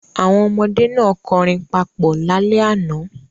Àwọn ọmọdé náà kọrin papọ̀ lálẹ́ àná.